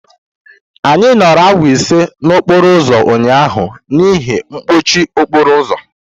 Anyị nọrọ awa ise n'okporo ụzọ ụnyaahụ n'ihi mkpọchi okporo ụzọ.